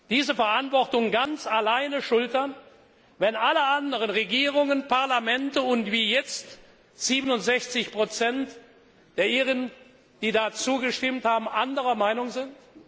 diese Verantwortung ganz alleine schultern, wenn alle anderen Regierungen und Parlamente und jetzt auch 67 der Iren, die zugestimmt haben, anderer Meinung sind?